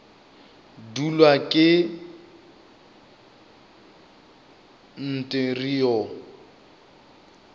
dulwa ke nt re o